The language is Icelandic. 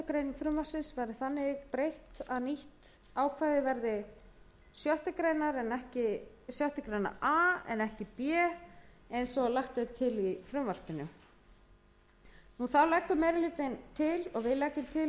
grein frumvarpsins verði breytt þannig að nýtt ákvæði verði sjöttu grein a en ekki sjöttu grein b svo sem lagt er til í frumvarpinu þá leggur meiri